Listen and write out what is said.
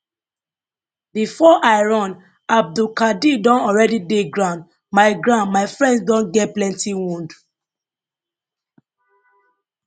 before i run abdulkadir don already dey ground my ground my friends don get plenty wound